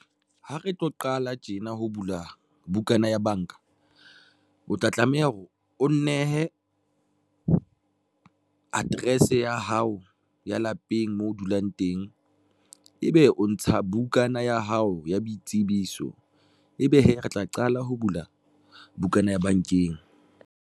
Ha re tlo qala tjena ho bula bukana ya banka, o tla tlameha hore o nnehe address ya hao ya lapeng moo o dulang teng, ebe o ntsha bukana ya hao ya boitsebiso ebe hee re tla qala ho bula bukana ya bankeng.